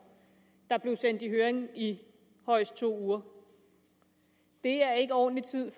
der blev sendt i høring i højst to uger det er ikke ordentlig tid